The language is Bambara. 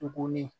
Tuguni